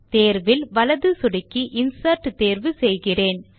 தேர்வில் வலது சொடுக்கி இன்சர்ட் தேர்வு செய்கிறேன்